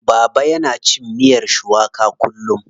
Baba yana cin miyar shuwaka kullum.